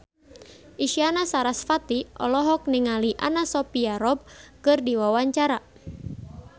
Isyana Sarasvati olohok ningali Anna Sophia Robb keur diwawancara